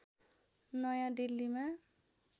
नयाँ दिल्लीमा